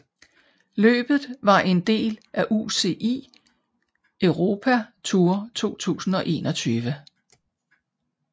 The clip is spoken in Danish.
Løbet var en del af UCI Europe Tour 2021